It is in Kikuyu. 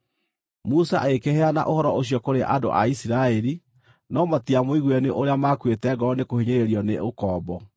Musa agĩkĩheana ũhoro ũcio kũrĩ andũ a Isiraeli, no matiamũiguire nĩ ũrĩa maakuĩte ngoro nĩkũhinyĩrĩrio nĩ ũkombo.